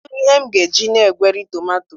Kedu ihe m ga-eji na-egweri tomato?